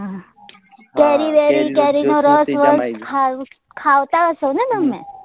કેરી વેરી કેરી નો રસ વસ ખાવતા હસો ને તમને